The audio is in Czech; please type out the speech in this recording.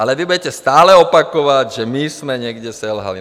Ale vy budete stále opakovat, že my jsme někde selhali.